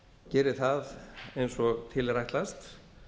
geri það eins og til er ætlast